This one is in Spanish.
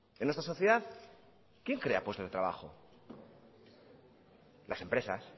en nuestra sociedad quién crea puestos de trabajo las empresas